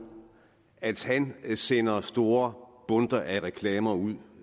at han sender store bundter af reklamer ud